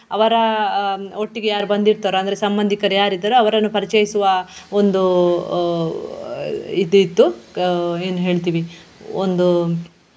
ಅವರ ಆಹ್ ಒಟ್ಟಿಗೆ ಯಾರು ಬಂದಿರ್ತಾರೋ ಅಂದ್ರೆ ಸಂಬಂದಿಕರು ಯಾರಿದ್ದಾರೋ ಅವರನ್ನು ಪರಿಚಯಿಸುವ ಒಂದು ಆಹ್ ಆಹ್ ಇದ್ ಇತ್ತು ಗ~ ಏನ್ ಹೇಳ್ತೀವಿ ಒಂದು.